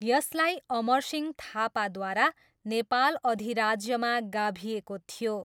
यसलाई अमरसिंह थापाद्वारा नेपाल अधिराज्यमा गाभिएको थियो।